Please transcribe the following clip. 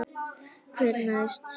Hver næst?